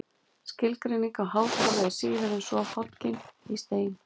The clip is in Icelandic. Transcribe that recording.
Skilgreining á háskóla er síður en svo hoggin í stein.